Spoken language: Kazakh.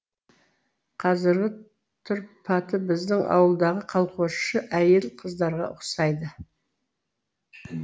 қазіргі тұрпаты біздің ауылдағы колхозшы әйел қыздарға ұқсайды